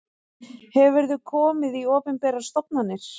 Hefurðu komið í opinberar stofnanir?